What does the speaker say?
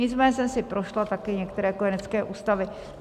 Nicméně jsem si prošla také nějaké kojenecké ústavy.